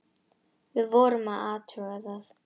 Við vorum að athuga það.